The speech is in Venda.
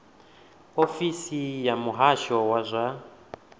ofisi ya muhasho wa zwa